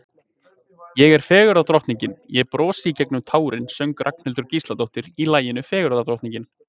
Ég er fegurðardrottning, ég brosi í gegnum tárin söng Ragnhildur Gísladóttir í laginu Fegurðardrottning.